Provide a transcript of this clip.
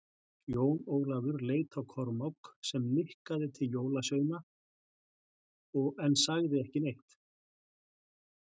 Jón Ólafur leit á Kormák, sem nikkaði til jólasveinana en sagði ekki neitt.